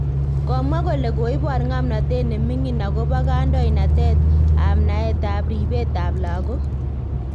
Komwa kole koibor ng'amnantet neming'in akobo kandoinatet ab naet ab ripet ab algok